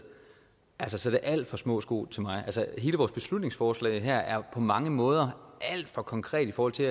altså så er det alt for små sko til mig hele vores beslutningsforslag her er jo på mange måder alt for konkret i forhold til